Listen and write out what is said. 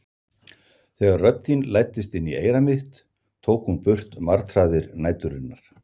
Þegar rödd þín læddist inn í eyra mitt tók hún burt martraðir næturinnar.